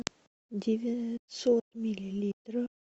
девятьсот миллилитров